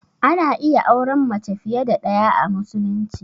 Ana iya auran mace fiye da ɗaya a musulunci.